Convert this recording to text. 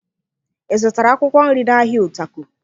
Ị zụtara akwụkwọ nri n'ahịa Utako?